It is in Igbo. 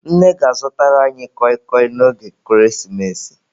Nne ga-azụtara anyị kọị kọị n'oge ekeresimesi.